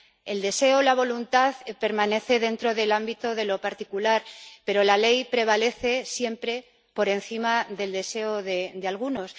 El deseo o la voluntad permanece dentro del ámbito de lo particular, pero la ley prevalece siempre por encima del deseo de algunos.